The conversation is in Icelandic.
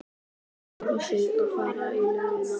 Þau klæða sig og fara í langa göngu.